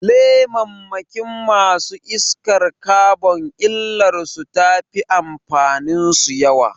Lemammakin masu iskar kabon illar su tafi amfanin su yawa